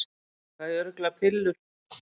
Fæ örugglega pillur